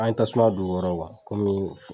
An ye tasuma bila u kɔɔrɔ